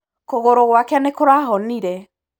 Kũgũrũ gwake nĩkũrahonire.